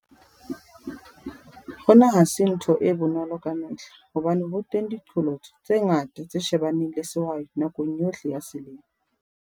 Hona ha se ntho e bonolo ka mehla hobane ho teng diqholotso tse ngata tse shebaneng le sehwai nakong yohle ya selemo.